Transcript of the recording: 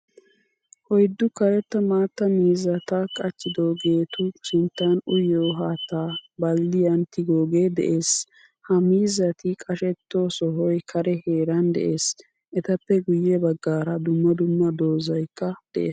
Oyddu karetta maattaa miizzaatta qachchidogetu sinttan uyiiyo haattaa balddiyan tigoge de'ees. Ha miizzatti qashshetto sohoy kare heeran de'ees. Etappe guye baggaara dumma dumma dozaykka de'ees.